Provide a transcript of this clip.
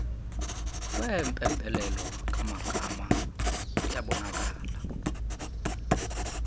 kwempembelelo kaamagaba kuyabonakala